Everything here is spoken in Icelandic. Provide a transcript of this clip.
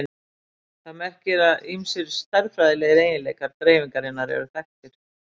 Það merkir að ýmsir stærðfræðilegir eiginleikar dreifingarinnar eru þekktir.